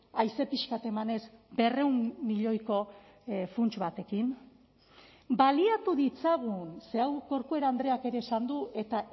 haize pixka bat emanez berrehun milioiko funts batekin baliatu ditzagun ze hau corcuera andreak ere esan du eta